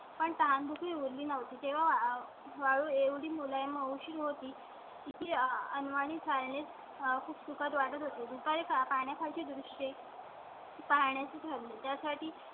पण तहानभूक ही उरली नव्हती तेव्हा तू एवढी मुलं हुशार होती ती अन वाणी chiniees खूप सुखद वाटत होती. दुपारी पाण्याची दोन सौ. पाहण्या चे ठरविले. त्यासाठी